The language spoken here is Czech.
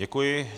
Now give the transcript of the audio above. Děkuji.